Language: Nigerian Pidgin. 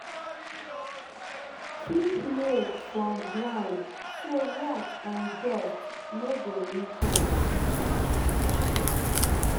keep milk from ground so rat and dust no go reach am